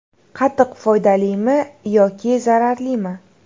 Qatiq foydalimi yoki zararlimi?